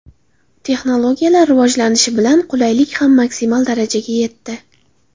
Texnologiyalar rivojlanishi bilan, qulaylik ham maksimal darajaga yetdi!